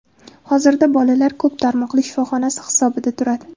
Hozirda bolalar ko‘p tarmoqli shifoxonasi hisobida turadi.